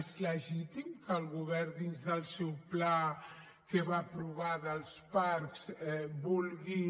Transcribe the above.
és legítim que el govern dins del seu pla que va aprovar dels parcs vulgui